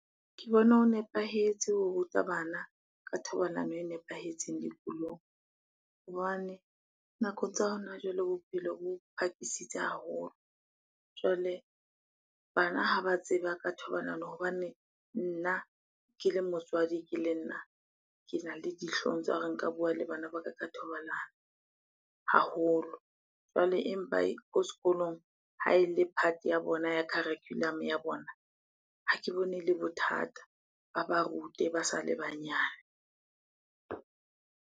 Ke bona ho nepahetse ho ruta bana ka thobalano e nepahetseng dikolong. Hobane nakong tsa hona jwale, bophelo bo phakisitse haholo. Jwale bana ha ba tseba ka thobalano hobane nna ke le motswadi ke le nna, kena le dihlong tsa hore nka bua le bana ba ka ka thobalano haholo. Jwale empa ko sekolong ha ele part ya bona ya curriculum-o ya bona, ha ke bone ele bothata. Ba ba rute ba sa le banyane.